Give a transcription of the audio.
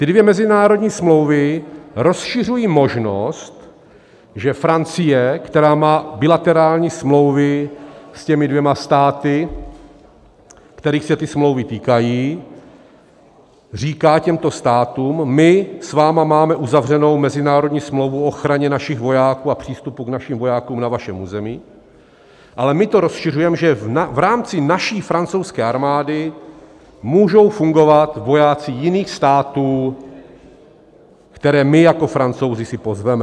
Ty dvě mezinárodní smlouvy rozšiřují možnost, že Francie, která má bilaterální smlouvy s těmi dvěma státy, kterých se ty smlouvy týkají, říká těmto státům: my s vámi máme uzavřenou mezinárodní smlouvu o ochraně našich vojáků a přístupu k našim vojákům na vašem území, ale my to rozšiřujeme, že v rámci naší francouzské armády můžou fungovat vojáci jiných států, které my jako Francouzi si pozveme.